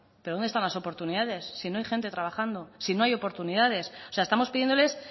pero dónde están las oportunidades si no hay gente trabajando si no hay oportunidades o sea estamos pidiéndoles